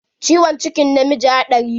Ciwon cikin namiji hadari ne.